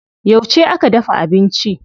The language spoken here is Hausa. Yauce aka dafa abinci?